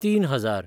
तीन हजार